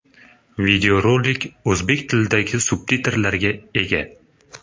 Videorolik o‘zbek tilidagi subtitrlarga ega.